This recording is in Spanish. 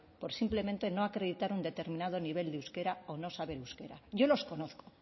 por simplemente no acreditar un determinado nivel de euskera o no saber euskera yo los conozco